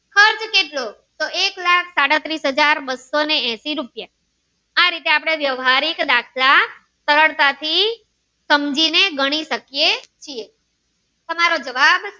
શેત્રફ્ળ કેટલું એક લાખ સાડત્રીસ હાજર બસો ને એસી રૂહોઈયાં આ રીતે આપણે વ્યવહારિક દાખલ સરળતા થી સમજી ને ગણી શકીએ છીએ તમારો જવાબ.